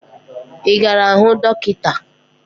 Ị gara hụ dọkịta?